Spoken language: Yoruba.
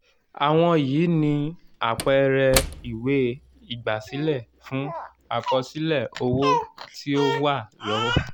àwọn yìí ni àpẹẹrẹ ìwé ígbásílẹ́ fun àkọsílẹ̀ owo tí o wa lọwo.